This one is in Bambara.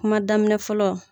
Kuma daminɛ fɔlɔ.